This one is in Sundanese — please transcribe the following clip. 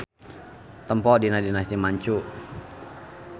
Tempo dina Dinasti Manchu.